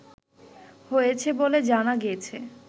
হয়েছে বলে জানা গেছে